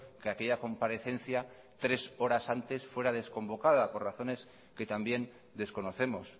que aquella comparecencia tres horas antes fuera desconvocada por razones que también desconocemos